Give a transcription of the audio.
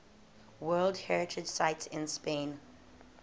world heritage sites in spain